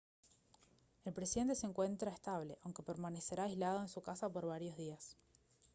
el presidente se encuentra estable aunque permanecerá aislado en su casa por varios días